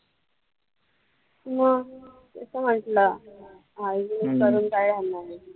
मग मी तर म्हंटलं hygienic करून काय होणार आहे.